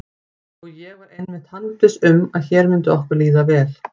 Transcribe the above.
Og ég var einmitt handviss um að hér myndi okkur líða vel.